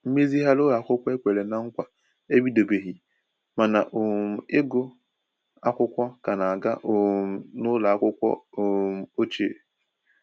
Mmezighari ụlọ akwụkwọ e kwèrè na nkwa ebidobeghi ma na um ịgụ akwụkwọ ka na aga um n'ụlọ akwụkwọ um ochie.